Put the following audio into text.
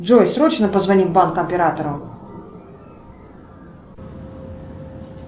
джой срочно позвони в банк оператору